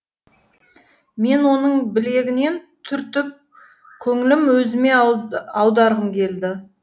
мен оның білегінен түртіп көңілін өзіме аударғым келді